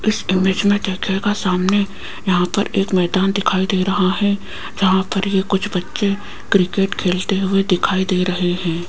इस इमेज में देखिएगा सामने यहां पर एक मैदान दिखाई दे रहा है जहां पर ये कुछ बच्चे क्रिकेट खेलते हुए दिखाई दे रहे हैं।